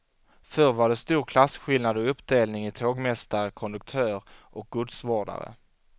Förr var det stor klasskillnad och uppdelning i tågmästare, konduktör och godsvårdare.